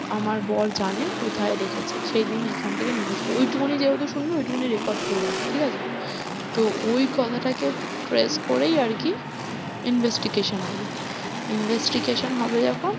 আমার বর জানে কোথায় রেখেছে যেদিন ওখান থেকে নিয়ে গেছিল, ওই টুকুনি যেহেতু শুনবে ওই টুকুনি record করে রাখবে ঠিক আছে? তো ওই কথাটাকে trace করেই আর কি investigation হবে investigation হবে যখন